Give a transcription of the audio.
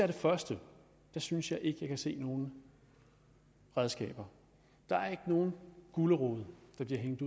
det første synes jeg ikke at jeg kan se nogen redskaber der er ikke nogen gulerod der bliver hængt